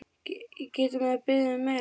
Getur maður beðið um meira?